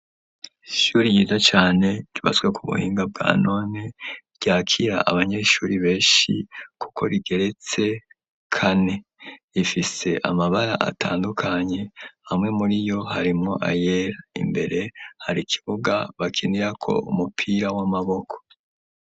Ishuri ryiza cane ryubatswe ku buhinga bwa none, ryakira abanyeshuri benshi kuko rigeretse kane ,rifise amabara atandukanye hamwe muri yo harimwo ayera, imbere hari kibuga bakinirako umupira w'amaboko.